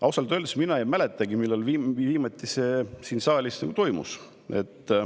Ausalt öeldes mina ei mäletagi, millal see viimati siin saalis toimus.